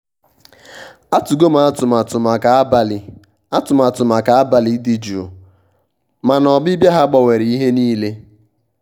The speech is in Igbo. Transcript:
atụgo m atụmatụ maka abalị atụmatụ maka abalị dị jụụ mana ọbịbịa ha gbanwere ihe niile.